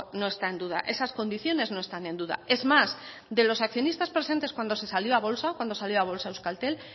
no está en duda esas condiciones no están en duda es más de los accionistas presentes cuando se salió a bolsa cuando salió a bolsa euskaltel